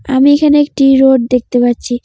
আমি এখানে একটি রোড দেখতে পাচ্ছি।